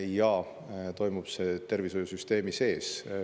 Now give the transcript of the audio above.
Ja toimub see tervishoiusüsteemi sees.